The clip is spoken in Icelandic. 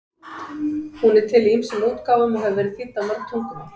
Hún er til í ýmsum útgáfum og hefur verið þýdd á mörg tungumál.